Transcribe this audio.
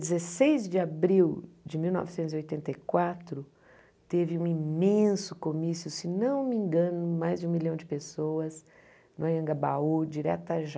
Dia dezesseis de abril de mil novecentos e oitenta e quatro, teve um imenso comício, se não me engano, mais de um milhão de pessoas no Anhangabaú, diretas Já.